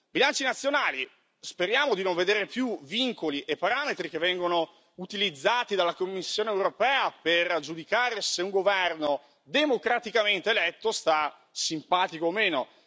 Bilanci nazionali speriamo di non vedere più vincoli e parametri che vengono utilizzati dalla Commissione europea per giudicare se un governo democraticamente eletto sta simpatico o meno.